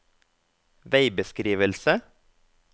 veibeskrivelse